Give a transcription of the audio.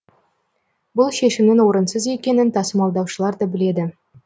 бұл шешімнің орынсыз екенін тасымалдаушылар да біледі